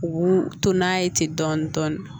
U to n'a ye ten dɔɔnin dɔɔnin dɔɔnin